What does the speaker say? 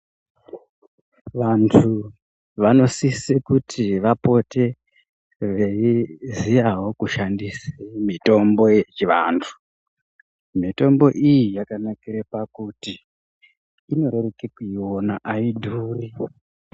Vantu vanosisa kuti vapote veiziya kushandisawl mutombo yechivantu. Mitombo iyi yakanakire pakuti inoreruka kuiona ayidhuri.